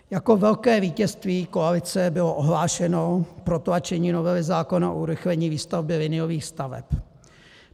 Jako velké vítězství koalice bylo ohlášeno protlačení novely zákona o urychlení výstavby liniových staveb.